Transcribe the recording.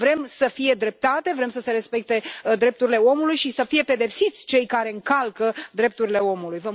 Vrem să fie dreptate, vrem să se respecte drepturile omului și să fie pedepsiți cei care încalcă drepturile omului.